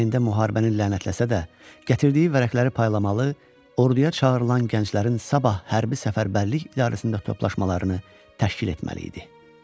Ürəyində müharibəni lənətləsə də, gətirdiyi vərəqələri paylamalı, orduya çağırılan gənclərin sabah Hərbi Səfərbərlik İdarəsində toplaşmalarını təşkil etməli idi.